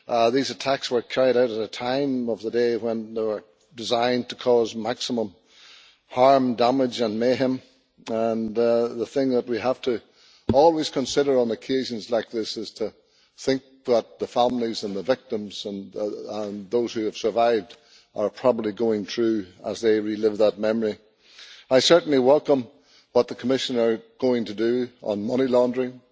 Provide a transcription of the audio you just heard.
These attacks were carried out at a time of the day when they were designed to cause maximum harm, damage and mayhem. The thing that we always have to consider on occasions like this is what the families of the victims and those who have survived are probably going through as they relive that memory. I certainly welcome what the Commissioner is going to do on money laundering,